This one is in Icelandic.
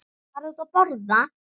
Farðu út að borða.